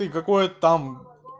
и какое там